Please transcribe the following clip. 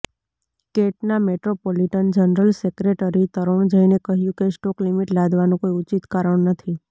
કેટના metropolitan general secretary તરૂણ જૈને કહ્યું કે સ્ટોક લિમિટ લાદવાનું કોઈ ઉચિત કારણ નથી